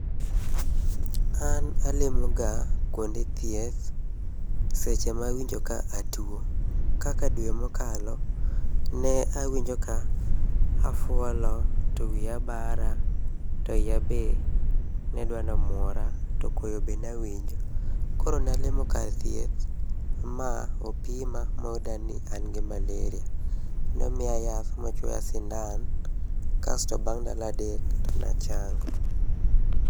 An alimoga kuonde thieth seche ma awinjo ka atuo. Kaka dwe mokalo, ne awinjo ka afuolo to wiya bara to iya be nedwa nomuora to koyo be nawinjo. Koro nalimo kar thieth, ma opima moyuda ni an gi Malaria. Nomiya yath mochuoya sindan, kasto bang ndalo adek to nachango.